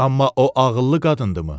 Amma o ağıllı qadındımı?